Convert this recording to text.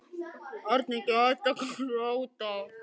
Ég man þetta einsog það hafi gerst í gær.